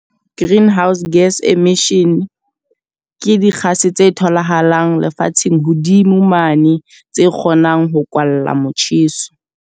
Greenhouse gas emission, ke dikgase tse tholahalang lefatsheng hodimo mane. Tse kgonang ho kwalla motjheso.